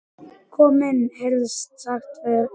Kom inn, heyrðist sagt fyrir innan.